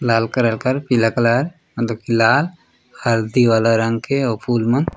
लाल colour कर पीला colour लाल हर्दी वाला रंग के वो फुल मन--